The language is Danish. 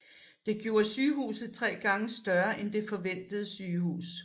Det gjorde sygehuset tre gange større end det forhenværende sygehus